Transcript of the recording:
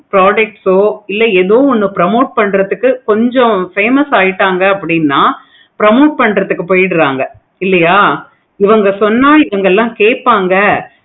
products ஆஹ் இல்ல எதோ ஒன்னு promote பண்ணுறதுக்கு famous ஆகிட்டாங்க அப்படினு promote பண்றதுக்கு போய்கிட்டு இருக்காங்க. இல்லையா இவங்க சொன்ன இவங்க எல்லாம் கேட்பாங்க